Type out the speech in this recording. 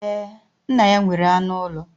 Ee, nna ya nwere anụ ụlọ